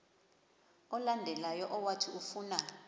olandelayo owathi ufuna